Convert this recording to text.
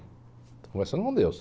Estou conversando com Deus.